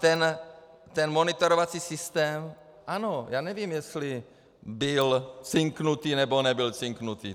Ten monitorovací systém, ano, já nevím, jestli byl cinknutý, nebo nebyl cinknutý.